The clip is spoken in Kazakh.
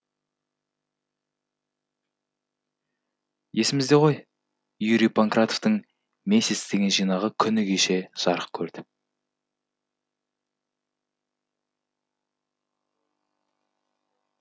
есімізде ғой юрий панкратовтың месяц деген жинағы күні кеше жарық көрді